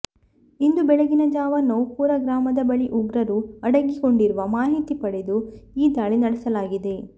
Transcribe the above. ಇಂದು ಬೆಳಗಿನ ಜಾವ ನೌಪುರಾ ಗ್ರಾಮದ ಬಳಿ ಉಗ್ರರು ಅಡಗಿ ಕೊಂಡಿರುವ ಮಾಹಿತಿ ಪಡೆದು ಈ ದಾಳಿ ನಡೆಸಲಾಗಿದೆ